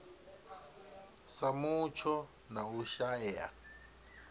sa mutsho na u shaea